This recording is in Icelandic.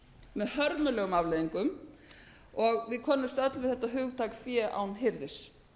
með hörmulegum afleiðingum og við könnumst öll við þetta hugtak fé án hirðis